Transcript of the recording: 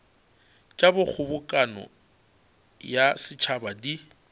tša kgobokano ya setšhaba di